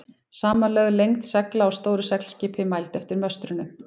Samanlögð lengd segla á stóru seglskipi, mæld eftir möstrunum.